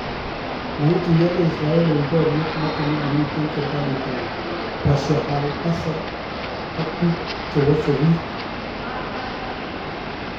Maituyakee Israel en boryet noton nekimiten serikaliit ab Bashar al-Assad ak biik chewase biik.